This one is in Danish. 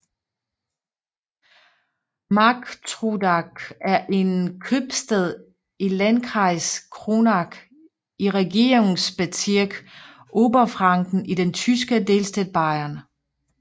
Marktrodach er en købstad i Landkreis Kronach i Regierungsbezirk Oberfranken i den tyske delstat Bayern